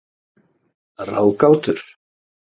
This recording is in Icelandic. ráðgátur